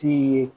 Ti ye